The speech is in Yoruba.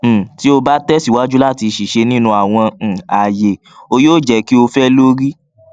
um ti o ba tẹsiwaju lati ṣiṣe ninu awọn um aaye o yoo jẹ ki o fẹ lori